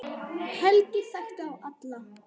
Helgi þekkti þá alla.